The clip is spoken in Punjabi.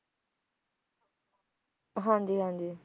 ਹਾਂ ਜੀ ਹਾਂ ਜੀ